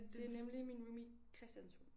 Det er nemlig min roomie Christians hund